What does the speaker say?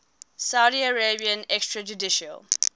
saudi arabian extrajudicial